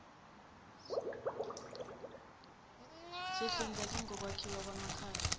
sihlinzeke ngokwakhiwa kwamakhaya